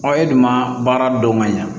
e dun ma baara dɔn ka ɲa